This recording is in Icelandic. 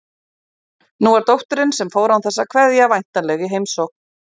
Nú var dóttirin, sem fór án þess að kveðja, væntanleg í heimsókn.